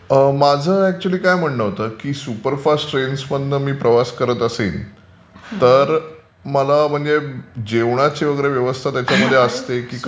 माझं अकचुयली काय म्हणणं होतं की सुपरफास्ट ट्रेन्समधून मी प्रवास करत असेन तर मला म्हणजे जेवणाची वगैरे व्यवस्था त्याच्यामध्ये असते की कसं?